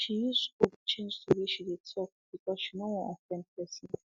she use scope change the way she dey talk because she no wan offend pesin